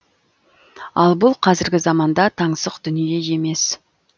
ал бұл қазіргі заманда таңсық дүние емес